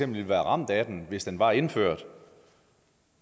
ville være ramt af den hvis den var indført